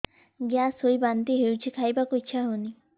gas ହୋଇ ବାନ୍ତି ହଉଛି ଖାଇବାକୁ ଇଚ୍ଛା ହଉନି